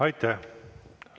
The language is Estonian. Aitäh!